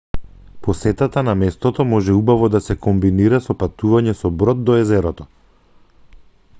посетата на местото може убаво да се комбинира со патување со брод до езерото